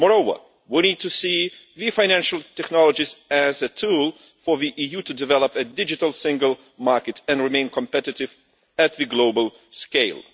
Moreover, we need to see financial technologies as a tool for the EU to develop a digital single market and remain competitive at the global scale.